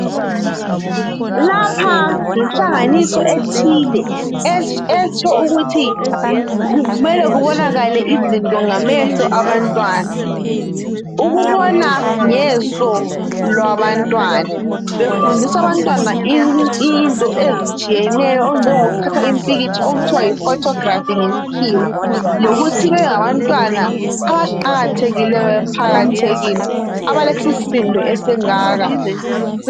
Lapha yinhlanganiso ethile. Etsho ukuthi kumele kubonakale izinto ngamehlo abantwana. Ukubona ngeso labantwana. Befundiswa abantwana into ezitshiyeneyo, okunjengokuthatha impikitsha. Okuthiwa yiphotography, ngesikhiwa. Njalo ukuthi bebengabantwana abaqakathekileyo emphakathini. Abalesisindo esingaka.